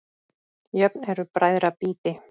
Jöfn eru bræðra býti.